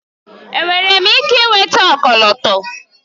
Enwere m ike ịnweta ọkọlọtọ?